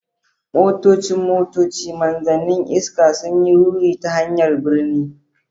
Motocin motoci, Manzannin iska, sun yi ruri ta hanyar birni.